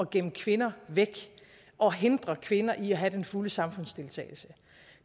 gemme kvinder væk og hindre kvinder i at have den fulde samfundsdeltagelse